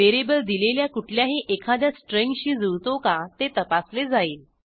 variable दिलेल्या कुठल्याही एखाद्या स्ट्रिंगशी जुळतो का ते तपासले जाईल